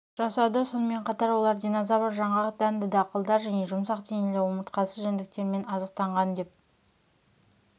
жасады сонымен қатар олар динозавр жаңғақ дәнді дақылдар және жұмсақ денелі омыртқасыз жәндіктермен азықтанған деп